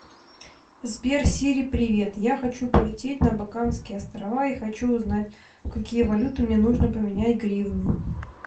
сбер сири привет я хочу полететь на багамские острова и хочу узнать в какие валюты мне нужно поменять гривны